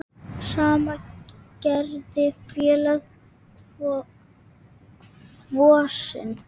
Sama gerði félagið Kvosin.